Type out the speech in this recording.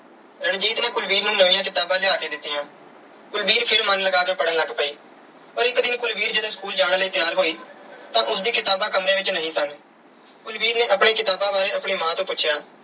ਰਣਜੀਤ ਨੇ ਕੁਲਵੀਰ ਨੂੰ ਨਵੀਆਂ ਕਿਤਾਬਾਂ ਲਿਆ ਕੇ ਦਿੱਤੀਆਂ। ਕੁਲਵੀਰ ਫਿਰ ਮਨ ਲਗਾ ਕੇ ਪੜ੍ਹਨ ਲੱਗ ਪਈ। ਪਰ ਇਕ ਦਿਨ ਕੁਲਵੀਰ ਜਦੋਂ school ਜਾਣ ਲਈ ਤਿਆਰ ਹੋਈ ਤਾਂ ਉਸ ਦੀਆਂ ਕਿਤਾਬਾਂ ਕਮਰੇ ਵਿੱਚ ਨਹੀਂ ਸਨ। ਕੁਲਵੀਰ ਨੇ ਆਪਣੀਆਂ ਕਿਤਾਬਾਂ ਬਾਰੇ ਆਪਣੀ ਮਾਂ ਤੋਂ ਪੁੁੱਛਿਆ।